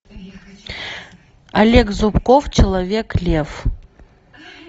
олег зубков человек лев